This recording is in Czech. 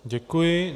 Děkuji.